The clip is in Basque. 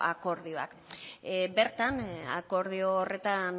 akordioa bertan akordio horretan